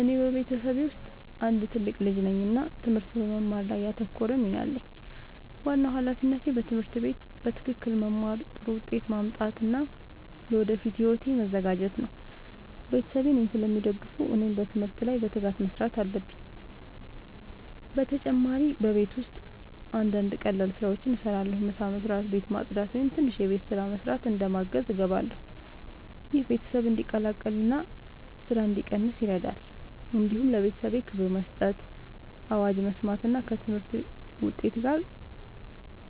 እኔ በቤተሰቤ ውስጥ አንድ ትልቅ ልጅ ነኝ እና ትምህርት በመማር ላይ ያተኮረ ሚና አለኝ። ዋናው ሃላፊነቴ በትምህርት ቤት በትክክል መማር፣ ጥሩ ውጤት ማምጣት እና ለወደፊት ሕይወቴ መዘጋጀት ነው። ቤተሰቤ እኔን ስለሚደግፉ እኔም በትምህርት ላይ በትጋት መስራት አለብኝ። በተጨማሪ በቤት ውስጥ አንዳንድ ቀላል ስራዎችን እረዳለሁ። ምሳ መስበስ፣ ቤት ማጽዳት ወይም ትንሽ የቤት ስራ መስራት እንደ ማገዝ እገባለሁ። ይህ ቤተሰብ እንዲቀላቀል እና ስራ እንዲቀንስ ይረዳል። እንዲሁም ለቤተሰቤ ክብር መስጠት፣ አዋጅ መስማት እና ከትምህርት ውጤት ጋር